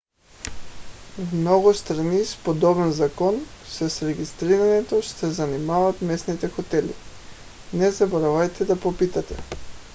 в много страни с подобен закон с регистрирането ще се занимават местните хотели не забравяйте да попитате